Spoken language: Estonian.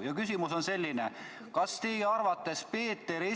" Mu küsimus on selline: kas teie arvates Peeter I